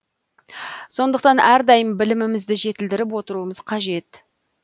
сондықтан әрдайым білімімізді жетілдіріп отыруымыз қажет